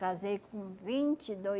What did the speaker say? casei com vinte e